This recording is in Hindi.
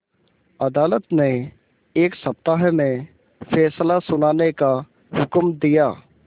अदालत ने एक सप्ताह में फैसला सुनाने का हुक्म दिया